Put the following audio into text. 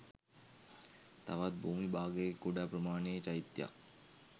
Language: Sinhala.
තවත් භූමි භාගයක කුඩා ප්‍රමාණයේ චෛතයක්